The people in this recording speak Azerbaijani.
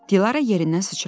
Dilarə yerindən sıçradı.